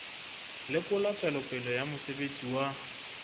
lekola tswelopele ya mosebetsi wa